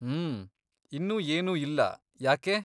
ಮ್ಮ್.. ಇನ್ನೂ ಏನೂ ಇಲ್ಲ, ಯಾಕೆ?